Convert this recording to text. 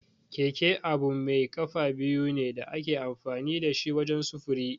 Keke abu mai kafa biyu ne da ake amfani da shi wajen sufuri.